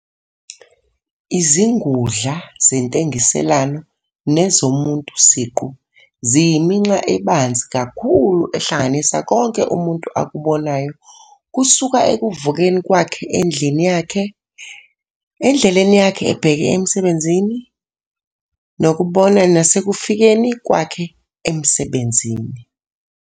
Izingudla zentengiselano nezomuntu siqu ziyiminxa ebanzi kakhulu ehlanganisa konke umuntu akubonayo kusuka ekuvukeni kwakhe endlini yakhe, endleleni yakhe ebheke emsebenzini nakubona nasekufikeni kwakhe emsebenzini.